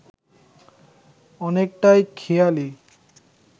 অনেকটাই খেয়ালি